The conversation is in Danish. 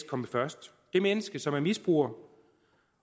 komme først det menneske som er misbruger